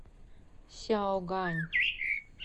сяогань